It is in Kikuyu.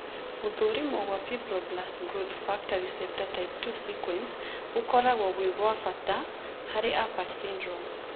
Gũthũrimwo gwa Fibroblast growth factor receptor type 2 (FGFR2) sequence gũkoragwo gwĩ gwa bata harĩ Apert syndrome.